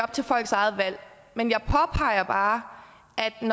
folks eget valg men jeg påpeger bare